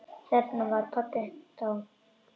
Þarna var pabbi þá.